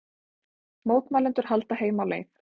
Mótmælendur halda heim á leið